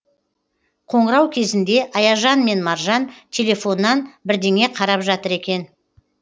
қоңырау кезінде аяжан мен маржан телефоннан бірдеңе қарап жатыр екен